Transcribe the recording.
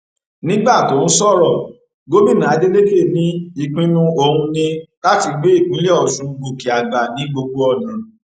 nígbà tó ń sọrọ gómìnà adeleke ní ìpinnu òun ní láti gbé ìpínlẹ ọṣun gòkè àgbà ní gbogbo ọnà